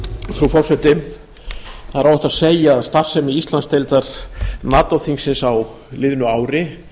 það er óhætt að segja að starfsemi íslandsdeildar nato þingsins á liðnu ári